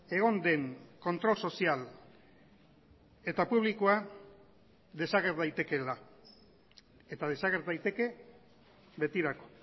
egon den kontrol sozial eta publikoa desager daitekeela eta desager daiteke betirako